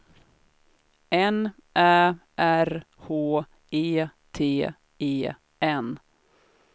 N Ä R H E T E N